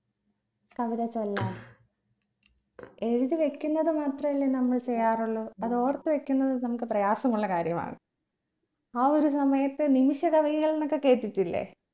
കവിത ചൊല്ലാൻ എഴുതി വെക്കുന്നത് മാത്രല്ലേ നമ്മൾ ചെയ്യാറുള്ളൂ അതോർത്ത് വെക്കുന്നത് നമ്മക്ക് പ്രയാസമുള്ള കാര്യമാണ് ആ ഒരു സമയത്ത് നിമിഷ കവികൾ എന്നൊക്കെ കേട്ടിട്ടില്ലേ